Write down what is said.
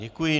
Děkuji.